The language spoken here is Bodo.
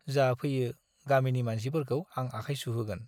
जा फैयो गामिनि मानसिफोरखौ आं आखाय सुहोगोन।